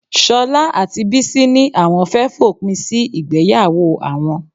Ṣọlá àti Bísí ní àwọn fẹ́ fòpin sí ìgbéyàwó àwọn